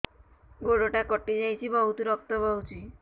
ଗୋଡ଼ଟା କଟି ଯାଇଛି ବହୁତ ରକ୍ତ ବହୁଛି